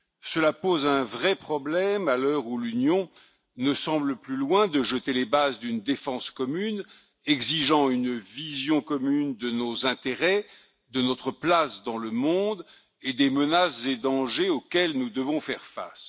Cela pose un vrai problème à l'heure où l'Union européenne ne semble plus loin de jeter les bases d'une défense commune exigeant une vision commune de nos intérêts, de notre place dans le monde et des menaces et dangers auxquels nous devons faire face.